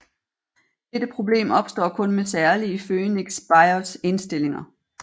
Dette problem opstår kun med særlige Phoenix BIOS indstillinger